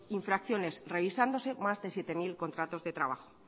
infracciones revisándose más de siete mil contratos de trabajo